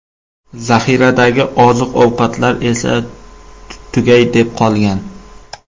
Zaxiradagi oziq-ovqatlar esa tugay deb qolgan.